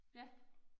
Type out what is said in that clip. Ja